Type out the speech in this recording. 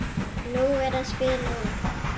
Nú er að spila út.